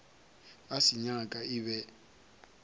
a se nyaka e be